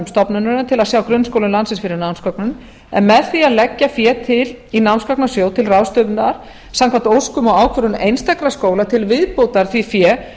stofnunarinnar til að sjá grunnskólum landsins fyrir námsgögnum en með því að leggja fé til í námsgagnasjóð til ráðstöfunar samkvæmt óskum og ákvörðun einstakra skóla til viðbótar því fé